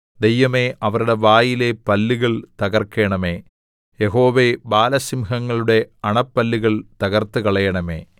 ദൈവമേ അവരുടെ വായിലെ പല്ലുകൾ തകർക്കണമേ യഹോവേ ബാലസിംഹങ്ങളുടെ അണപ്പല്ലുകൾ തകർത്തുകളയണമേ